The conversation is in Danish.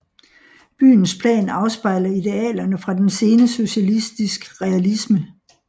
Byens plan afspejler idealerne fra den sene socialistisk realisme